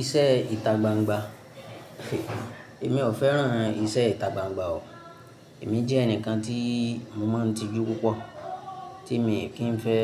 Iṣẹ́ ìta gbangba. Èmi ò fẹ́ràn iṣẹ́ ìta gbangba o. Èmi jẹ́ ẹnìkan tí mo máa ń tijú púpọ̀, tí èmi kì í fẹ́